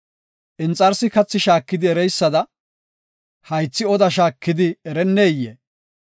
Inxarsi kathi shaakidi ereysada, haythi oda shaakidi erenneyee?